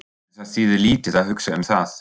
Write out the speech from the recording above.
En það þýðir lítið að hugsa um það.